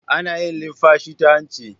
Ana yin linfashi ta hanci